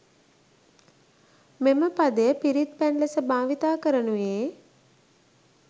මෙම පදය පිරිත් පැන් ලෙස භාවිතා කරනුයේ